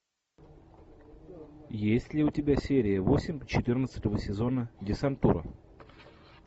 есть ли у тебя серия восемь четырнадцатого сезона десантура